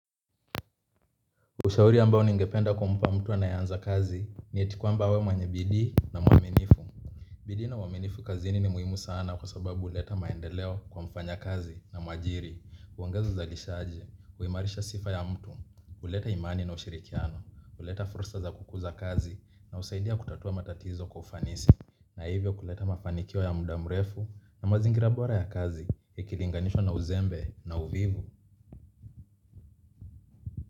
Ushauri ambao ningependa kumpa mtu anayeanza kazi, ni eti kwamba awe mwenye bidii na mwaminifu. Bidii na uaminifu kazini ni muhimu sana kwa sababu huleta maendeleo kwa mfanya kazi na mwajiri, huongeza uzalishaji, huimarisha sifa ya mtu, huleta imani na ushirikiano, huleta fursa za kukuza kazi na husaidia kutatua matatizo kwa ufanisi. Na hivyo kuleta mafanikio ya muda mrefu na mazingira bora ya kazi, ikilinganishwa na uzembe na uvivu.